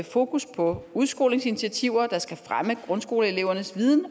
fokus på udskolingsinitiativer der skal fremme grundskoleelevernes viden